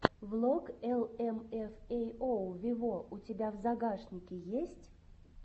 влог эл эм эф эй оу вево у тебя в загашнике есть